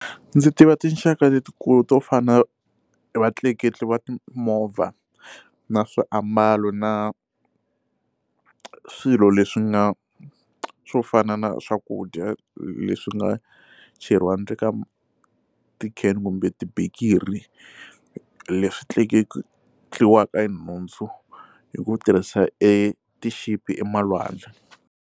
Ndzi tiva tinxaka letikulu to fana vatleketli va timovha na swiambalo na swilo leswi nga swo fana na swakudya leswi nga cheriwa ndzeni ka ti can kumbe tibikiri leswi tleketliwaka hi nhundzu hi ku tirhisa e ti ship emalwandle.